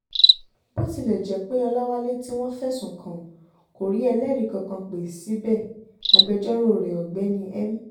bó tilẹ̀ jẹ́ pé ọláwálé tí wọ́n fẹ̀sùn kàn kò rí ẹlẹ́rìí kankan pé síbẹ̀ agbẹjọ́rò rẹ̀ ọ̀gbẹ́ni m